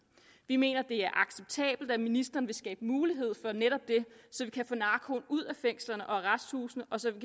vi mener det er acceptabelt at ministeren vil skabe mulighed for netop det så vi kan få narkoen ud af fængslerne og arresthusene og så vi